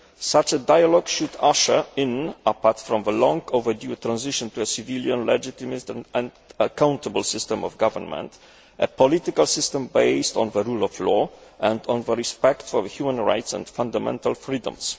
Such a dialogue should usher in apart from the long overdue transition to a civilian, legitimate and accountable system of government a political system based on the rule of law and on respect for human rights and fundamental freedoms.